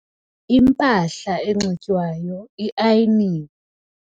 Impahla enxitywayo iayiniwe.